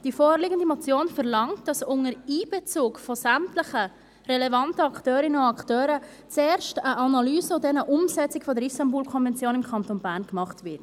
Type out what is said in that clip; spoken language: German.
Die vorliegende Motion verlangt, dass unter Einbezug sämtlicher relevanten Akteurinnen und Akteuren zuerst eine Analyse und dann eine Umsetzung der IstanbulKonvention im Kanton Bern gemacht werden.